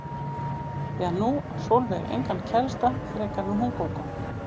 Því að nú á Sólveig engan kærasta frekar en hún Gógó.